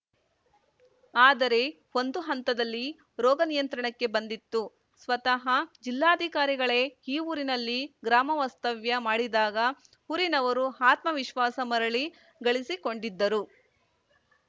ಆದರೆ ಒಂದು ಹಂತದಲ್ಲಿ ರೋಗ ನಿಯಂತ್ರಣಕ್ಕೆ ಬಂದಿತ್ತು ಸ್ವತಃ ಜಿಲ್ಲಾಧಿಕಾರಿಗಳೇ ಈ ಊರಿನಲ್ಲಿ ಗ್ರಾಮ ವಾಸ್ತವ್ಯ ಮಾಡಿದಾಗ ಊರಿನವರು ಆತ್ಮವಿಶ್ವಾಸ ಮರಳಿ ಗಳಿಸಿಕೊಂಡಿದ್ದರು